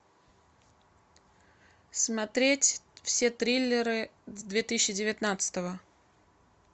смотреть все триллеры две тысячи девятнадцатого